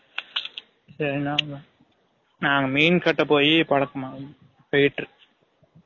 தினனும் நாங்க மீன் கட்ட போய் பலக்கமானது fighter